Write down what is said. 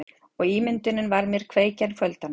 Og ímyndunin var mér kveikja kvöldanna.